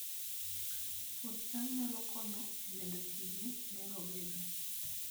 Puoth cham nyalo konyo e medo tije ne rowere